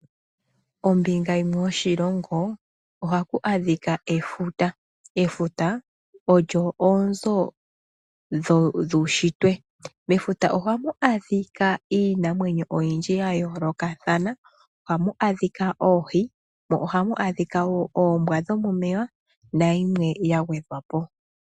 Ombinga yimwe yoshilongo oha ku adhika efuta. Efuta olyo oonzo dhuushitwe. Mafuta oha mu adhika iinamwenyo oyindji ya yoolokathana . Oha mu adhika oohi, mo oha mu adhika wo oombwa dho momeya, nayilwe ya gwedhwa po.